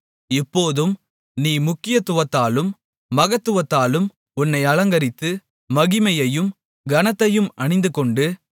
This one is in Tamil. இப்போதும் நீ முக்கியத்துவத்தாலும் மகத்துவத்தாலும் உன்னை அலங்கரித்து மகிமையையும் கனத்தையும் அணிந்துகொண்டு